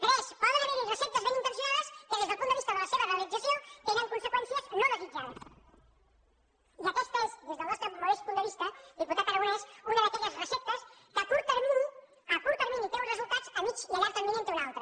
tres poden haver hi receptes ben intencionades que des del punt de vista de la seva realització tenen conseqüències no desit jades i aquesta és des del nostre modest punt de vista diputat aragonès una d’aquelles receptes que a curt termini té un resultat a mitjà i a llarg termini en té un altre